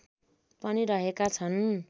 पनि रहेका छन्